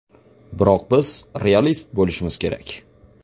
Biroq biz realist bo‘lishimiz kerak.